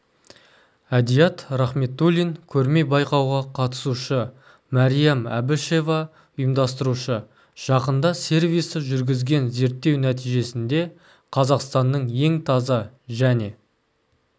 әдият рахметулин көрме-байқауға қатысушы мәриям әбішева ұйымдастырушы жақында сервисі жүргізген зерттеу нәтижесінде қазақстанның ең таза және